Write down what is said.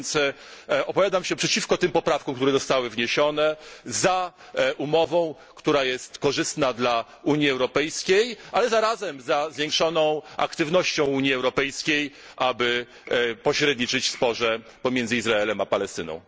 Tak więc opowiadam się przeciwko tym poprawkom, które zostały wniesione, za umową, która jest korzystna dla Unii Europejskiej, ale zarazem za zwiększoną aktywnością Unii Europejskiej, aby pośredniczyć w sporze pomiędzy Izraelem a Palestyną.